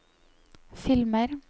filmer